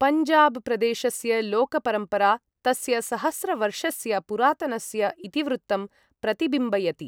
पञ्जाब प्रदेशस्य लोक परम्परा, तस्य सहस्रवर्षस्य पुरातनस्य इतिवृत्तं प्रतिबिम्बयति।